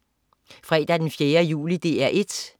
Fredag den 4. juli - DR 1: